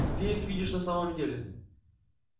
где их видишь на самом деле